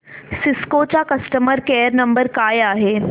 Cisco चा customer care number काय आहे